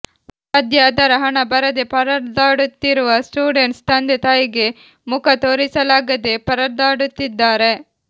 ಸದ್ಯ ಅದರ ಹಣ ಬರದೆ ಪರದಾಡುತ್ತಿರುವ ಸ್ಟೂಡೆಂಟ್ಸ್ ತಂದೆ ತಾಯಿಗೆ ಮುಖ ತೋರಿಸಲಾಗದೆ ಪರದಾಡುತ್ತಿದ್ದಾರೆ